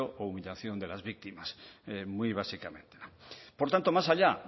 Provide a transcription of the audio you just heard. o humillación de las víctimas muy básicamente por tanto más allá